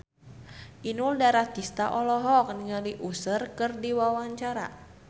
Inul Daratista olohok ningali Usher keur diwawancara